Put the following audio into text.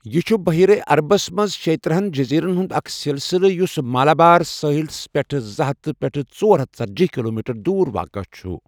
یہِ چھٗ بحیرہ عربس منز شیٕتٔرہنَ جزیرن ہٗند اكھ سِلسِلہٕ یٗس مالابار ساحل سےپیٹھہٕ زٕ ہتھ پیٹھہٕ ژۄر ہتھ ژٔتجی کلومیٹر دور واقع ہےچھٗ ۔